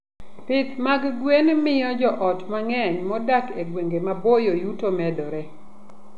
Pith mag gwen miyo joot mang'eny modak e gwenge maboyo yuto momedore.